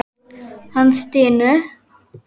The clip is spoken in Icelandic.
Hann stynur.